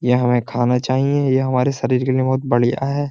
यह हमें खाना चाहिए। यह हमारे शरीर के लिए बहुत बढ़िया है।